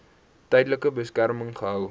tydelike beskerming gehou